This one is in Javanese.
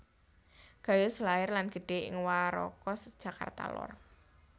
Gayus lair lan gedhe ing Warakas Jakarta lor